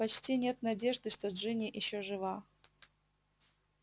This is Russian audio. почти нет надежды что джинни ещё жива